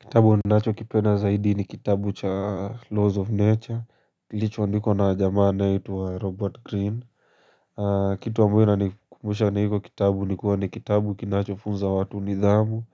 Kitabu ninachokipenda zaidi ni kitabu cha laws of nature, kiilichoandikwa na jamaa anaitwa Robert Green. Kitu ambayo inanikumbusha na hiko kitabu nikuwa ni kitabu kinachofunza watu nidhamu,